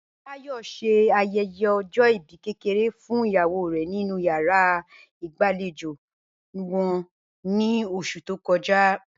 Báyò̩ s̩e aye̩ye̩ o̩jó̩ ìbí kékeré fún ìyàwó rè̩ nínú yàrá ìgbàlejò wo̩n ní os̩ù tó ko̩ja